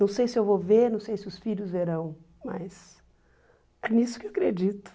Não sei se eu vou ver, não sei se os filhos verão, mas é nisso que eu acredito.